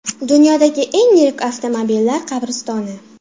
Dunyodagi eng yirik avtomobillar qabristoni .